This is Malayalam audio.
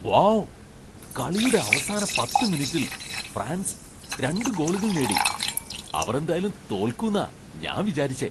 വൗ ! കളിയുടെ അവസാന പത്ത് മിനിറ്റിൽ ഫ്രാൻസ് രണ്ട് ഗോളുകൾ നേടി. അവർ എന്തായാലും തോൽക്കുന്നാ ഞാൻ വിചാരിച്ചെ.